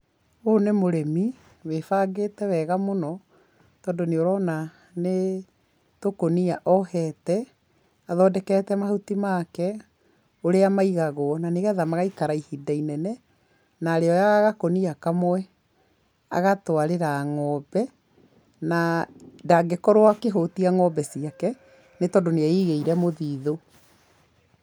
ũyũ nĩ mũrĩmi wĩbangĩte wega mũno, tondũ nĩũrona nĩtũkũnia ohete, athondekete mahuti make, nĩgetha magaikara ihinda inenene, na arĩoyaga gakũnia kamwe agatwarĩra ng'ombe, na ndangĩkorwo akĩhũtia ng'ombe ciake, nĩ tondũ nĩeigĩire mũthithũ.